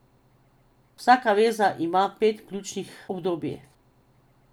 Vsaka veza ima pet ključnih obdobij.